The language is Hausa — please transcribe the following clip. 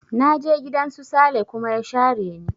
Na je gidan su Sale kuma ya share ni